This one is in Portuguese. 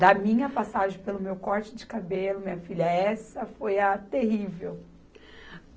Da minha passagem, pelo meu corte de cabelo, minha filha, essa foi a terrível.